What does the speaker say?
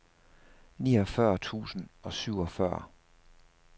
niogfyrre tusind og syvogfyrre